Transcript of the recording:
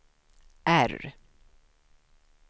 R